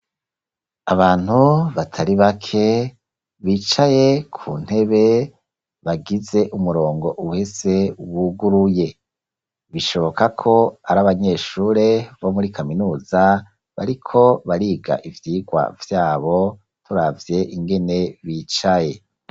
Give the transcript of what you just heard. Abantu batari bake bicaye ku ntebe, bagize umurongo uhese wuguruye. Bishoboka ko ari abanyeshure bo muri kaminuza bariko bariga ivyigwa vyabo, turavye ingene bicaye.